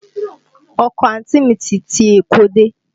Ọkọ àǹtí mi ti ti Èkó dé